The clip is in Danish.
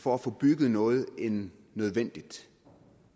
for at få bygget noget end nødvendigt